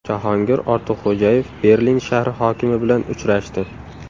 Jahongir Ortiqxo‘jayev Berlin shahri hokimi bilan uchrashdi.